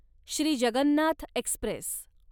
Shri Jagannath Express